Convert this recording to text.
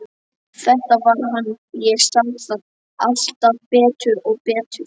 Þetta var hann, ég sá það alltaf betur og betur.